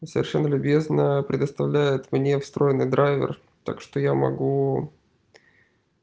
совершенно любезно предоставляет мне встроенный драйвер так что я могу